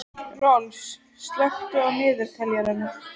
Rolf, slökktu á niðurteljaranum.